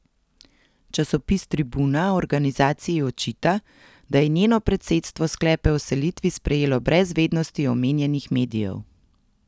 Časopis Tribuna organizaciji očita, da je njeno predsedstvo sklepe o selitvi sprejelo brez vednosti omenjenih medijev.